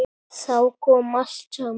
Þá kom allt saman.